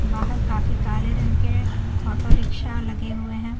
बाहर काफी काले रंग के ऑटो रिक्शा लगे हुए हैं।